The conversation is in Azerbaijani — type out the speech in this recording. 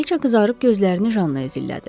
Kraliçə qızarıb gözlərini Jannaya zillədi.